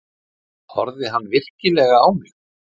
Horfði hann virkilega á mig?